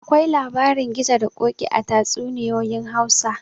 Akwai labarin gizo da koki a tatsuninyoyin Hausa